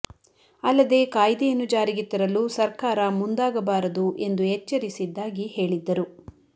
ಅಲ್ಲದೆ ಕಾಯ್ದೆಯನ್ನು ಜಾರಿಗೆ ತರಲು ಸರ್ಕಾರ ಮುಂದಾಗಬಾರದು ಎಂದು ಎಚ್ಚರಿಸಿದ್ದಾಗಿ ಹೇಳಿದ್ದರು